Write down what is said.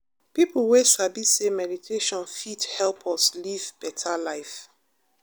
people wey sabi say meditation fit help us live better life.